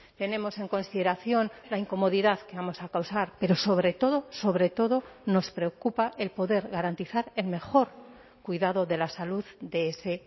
tenemos en consideración la incomodidad que vamos a causar pero sobre todo sobre todo nos preocupa el poder garantizar el mejor cuidado de la salud de ese